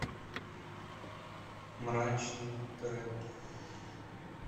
мрачный рэп